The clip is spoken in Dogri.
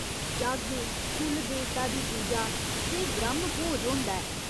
जग्ग, कुल देवता दी पूजा ते ब्रहम भोज होंदा ऐ।